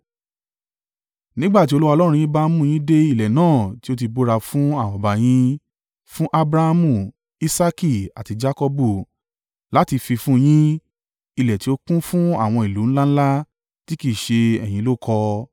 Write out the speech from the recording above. Nígbà tí Olúwa Ọlọ́run yín bá mú yín dé ilẹ̀ náà tí ó ti búra fún àwọn baba yín, fún Abrahamu, Isaaki, àti Jakọbu láti fi fún un yín, ilẹ̀ tí ó kún fún àwọn ìlú ńlá ńlá tí kì í ṣe ẹ̀yin ló kọ́ ọ,